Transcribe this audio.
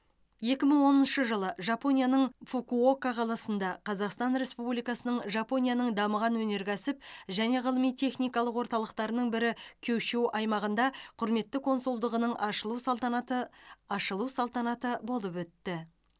екі мың оныншы жылы жапонияның фукуока қаласында қазақстан республикасының жапонияның дамыған өнеркәсіп және ғылыми техникалық орталықтарының бірі кюшю аймағында құрметті консулдығының ашылу салтанаты ашылу салтанаты болып өтті